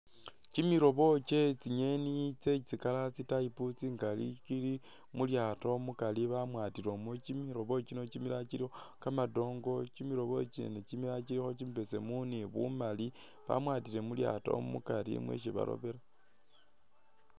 Kimilobo kyetsingyeni tse tsi'color tsi'type tsingali tsili mulyaato mukari bamwatilemo kymilobo kino kimilala kyilikho kamadongo kyimilobo kyene kyimilala kyilikho kyimibesemu ni bumali bamwatile mulaato mukari [?]